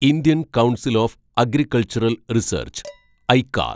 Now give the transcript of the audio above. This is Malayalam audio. Indian council of agricultural research ഐക്കാർ